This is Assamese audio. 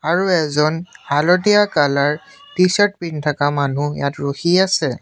আৰু এজন হালধীয়া কালাৰ টি চাৰ্ট পিন্ধি থকা মানুহ ইয়াত ৰখি আছে।